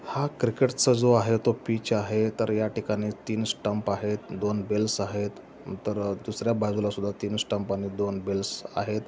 हा क्रिकेट जो आहे तो पिच आहे तर या ठिकाणी तीन स्टंप आहेत दोन बेलस् आहेत. नंतर दुसर्‍या बाजूलासुद्धा तीन स्टंप आणि दोन बेलस् आहेत.